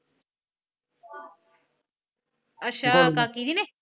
ਅੱਛਾ ਕਾਕੀ ਨੇ।